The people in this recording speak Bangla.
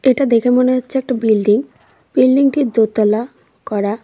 এটা দেখে মনে হচ্ছে একটা বিল্ডিং বিল্ডিংটি দোতলা করা।